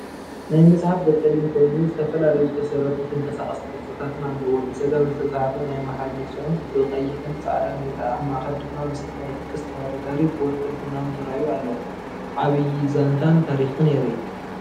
ናይ መጽሓፍ ገጽ ጸሊም ኮይኑ ዝተፈላለዩ ዝተሰረቱን ተንቀሳቐስቲ ቅርጽታትን ኣለዎ። ብጸጋም ዝተጻሕፈ ናይ ኣምሓርኛ ጽሑፍ ብቀይሕን ጻዕዳን ይርአ። ኣብ ማእከል ድማ ምስሊ ናይቲ ቅስት ተወዳዳሪ ብወርቅን ቡናውን ተራእዩ ኣሎ ዓብይ ዛንታን ታሪክን የርኢ።